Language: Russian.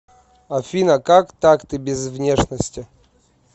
афина как так ты без внешности